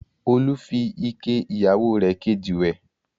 Olú fi ike ìyàwó rẹ̀ kejì wẹ̀.